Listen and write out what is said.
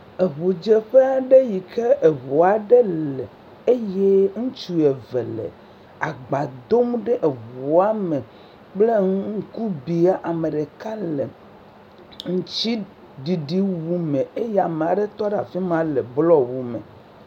Ŋudzeƒe aɖe yi ke ŋu aɖe le, eye ŋutsu eve le agba dom ɖe ŋua kple ŋkubia. Ame ɖeka le aŋutiɖiɖiwu me eye ame aɖe tɔ ɖe afi ma le blɔwu me.